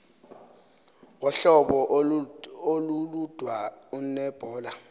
wohlobo olulodwa uneebhola